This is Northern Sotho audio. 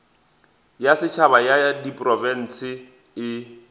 ya setšhaba ya diprofense e